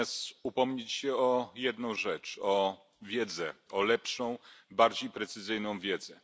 Natomiast chcę się upomnieć o jedną rzecz o wiedzę, o lepszą, bardziej precyzyjną wiedzę.